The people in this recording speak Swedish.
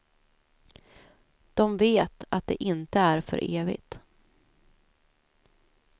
De vet att det inte är för evigt.